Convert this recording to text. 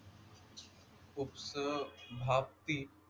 उपसभापती,